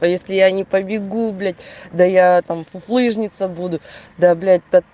по если я не побегу блять да я там фуфлыжница буду да блять то